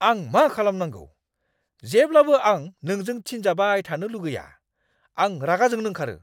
आं मा खालामनांगौ जेब्लाबो आं नोंजों थिनजाबाय थानो लुगैया। आं रागा जोंनो ओंखारो।